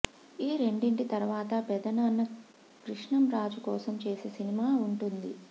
ఈ రెండింటి తరువాత పెదనాన్న కృష్ణం రాజు కోసం చేసే సినిమా వుంటుంది